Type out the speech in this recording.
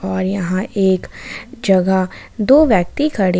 और यहां एक जगह दो व्यक्ति खड़े हैं।